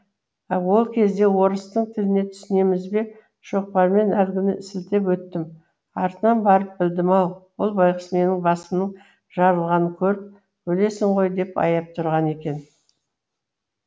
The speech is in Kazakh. ол кезде орыстың тіліне түсінеміз бе шоқпармен әлгіні сілтеп өттім артынан барып білдім ау ол байғұс менің басымның жарылғанын көріп өлесің ғой деп аяп тұрғаны екен